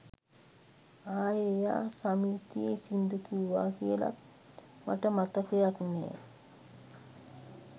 ආයෙ එයා සමිතියෙ සිංදු කිව්වා කියලත් මට මතකයක් නෑ.